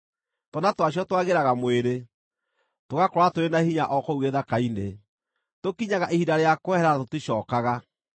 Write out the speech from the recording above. Twana twacio twagĩraga mwĩrĩ, tũgakũra tũrĩ na hinya o kũu gĩthaka-inĩ; tũkinyaga ihinda rĩa kwehera na tũticookaga.